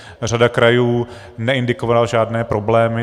Řada krajů neindikovala žádné problémy.